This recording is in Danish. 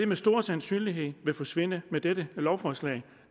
med stor sandsynlighed forsvinde med dette lovforslag